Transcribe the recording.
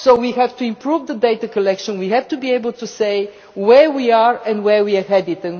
know. So we have to improve the data collection and we have to be able to say where we are and where we are